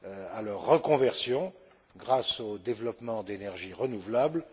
à leur reconversion grâce au développement d'énergies renouvelables.